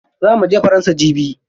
Za muje faransa jibi.